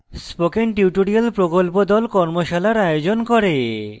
spoken tutorial প্রকল্প the কর্মশালার আয়োজন করে